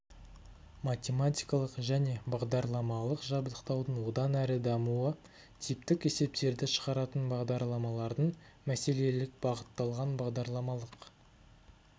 математикалық және бағдарламалық жабдықтаудың одан әрі дамуы типтік есептерді шығаратын бағдарламалардың мәселелік бағытталған бағдарламалық